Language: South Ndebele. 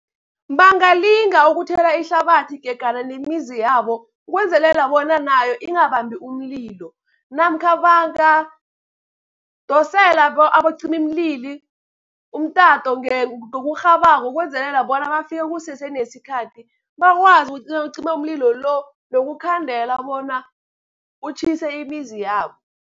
Bangalinga ukuthela ihlabathi gegana nemizi yabo, ukwenzelela bona nayo ingabambi umlilo. Namkha bangadosela abacimimlilo umtato ngokurhabako ukwenzelela bona bafike kusese nesikhathi, bakwazi ukucima umlilo lo nokukhandela bona utjhise imizi yabo.